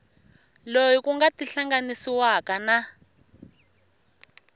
loyi ku nga tihlanganisiwaka na